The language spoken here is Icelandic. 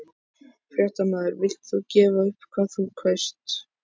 Fréttamaður: Villt þú gefa upp hvað þú kaust?